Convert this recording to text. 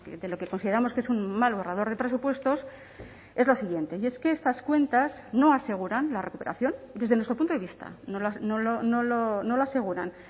de lo que consideramos que es un mal borrador de presupuestos es lo siguiente y es que estas cuentas no aseguran la recuperación desde nuestro punto de vista no lo aseguran